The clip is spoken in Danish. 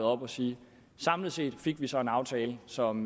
og sige at samlet set fik vi så en aftale som